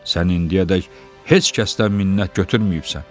Sən indiyədək heç kəsdən minnət götürməyibsən.